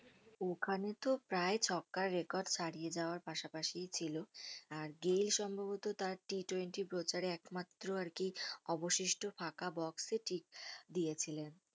ওখানে তো প্রায় ছক্কার record ছাড়িয়ে যাওয়ার পাশাপাশিই ছিল আর গেইল সম্বভত তার T twenty প্রচারে একমাত্র আরকি অবশিষ্ট ফাঁকা box এ ঠিক দিয়েছিলেন